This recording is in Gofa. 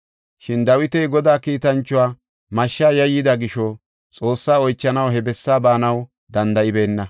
Shin Dawiti Godaa kiitanchuwa mashsha yayyida gisho Xoossaa oychanaw he bessaa baanaw danda7ibeenna.